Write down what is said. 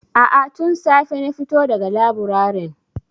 A'a, tun safe na fito da ga laburaren.